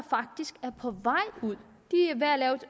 faktisk er på vej ud